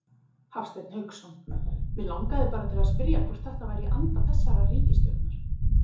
Hafsteinn Hauksson: Mig langaði bara til að spyrja hvort þetta væri í anda þessarar ríkisstjórnar?